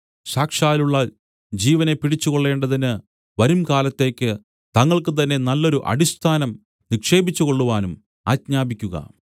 സാക്ഷാലുള്ള ജീവനെ പിടിച്ചുകൊള്ളേണ്ടതിന് വരുംകാലത്തേക്കു തങ്ങൾക്കുതന്നെ നല്ലൊരു അടിസ്ഥാനം നിക്ഷേപിച്ചുകൊള്ളുവാനും ആജ്ഞാപിക്കുക